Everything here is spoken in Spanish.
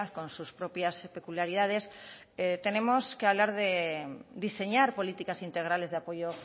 con sus propias peculiaridades tenemos hablar de diseñar políticas integrales de apoyo